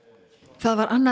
það var annað